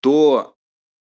то